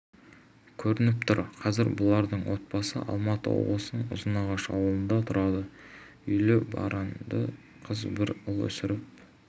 көрініп тұр қазір бұлардың отбасы алматы облысының ұзынағаш ауылында тұрады үйлі-баранды қыз бір ұл өсіріп